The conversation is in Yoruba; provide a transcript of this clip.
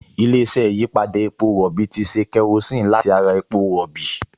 Ilé-iṣẹ́ ìyípadà epo rọ̀bì ti ṣe kerosíìnì láti ara epo rọ̀bì